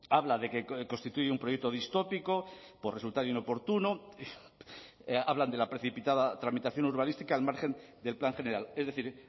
habla de que constituye un proyecto distópico por resultar inoportuno hablan de la precipitada tramitación urbanística al margen del plan general es decir